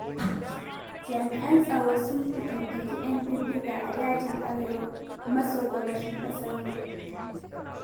Jami'an tsaro sun fatattaki 'yan bindiga a dajin Arewa maso-gabashin ƙasar nan.